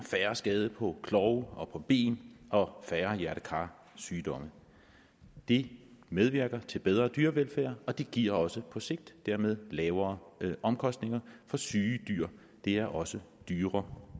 færre skader på klove og ben og færre hjerte kar sygdomme det medvirker til bedre dyrevelfærd og det giver også på sigt dermed lavere omkostninger for syge dyr er også dyre